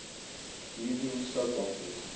evening soap operas